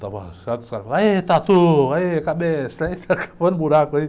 Estava achado, aí, tatu, aí, cabeça, aí fica cavando buraco aí.